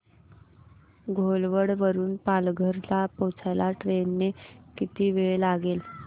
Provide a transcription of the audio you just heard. घोलवड वरून पालघर ला पोहचायला ट्रेन ने किती वेळ लागेल